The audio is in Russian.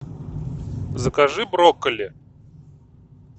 закажи брокколи